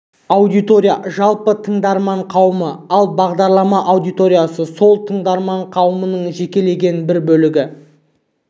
аудитория жалпы тыңдарман қауым ал бағдарлама аудиториясы сол тыңдарман қауымның жекелеген бір бөлігі